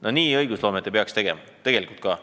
" Niimoodi õigusloomet ei tohiks teha, tegelikult ka.